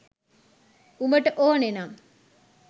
උඹට ඕන නම්